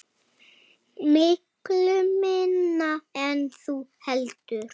Miklu minna en þú heldur.